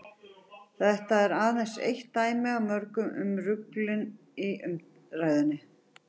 þetta er aðeins eitt dæmi af mörgum um ruglinginn í umræðunni